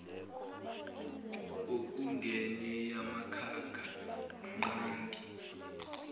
okungenye yemikhakha ngqangi